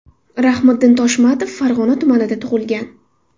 Rahmiddin Toshmatov Farg‘ona tumanida tug‘ilgan.